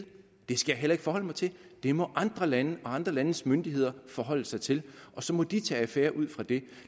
det skal jeg heller ikke forholde mig til det må andre lande og andre landes myndigheder forholde sig til og så må de tage affære ud fra det